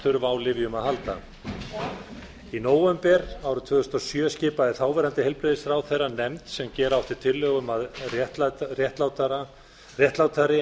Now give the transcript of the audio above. þurfa á lyfjum að halda í nóvember árið tvö þúsund og sjö skipaði þáverandi heilbrigðisráðherra nefnd sem gera átti tillögu um að réttlátari